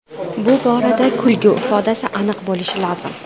Bu borada kulgi ifodasi aniq bo‘lishi lozim.